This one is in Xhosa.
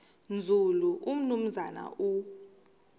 nzulu umnumzana u